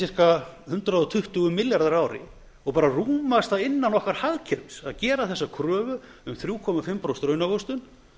er ca hundrað tuttugu milljarðar á ári og rúmast það innan okkar hagkerfis að gera þessa kröfu um þrjú og hálft prósent raunávöxtun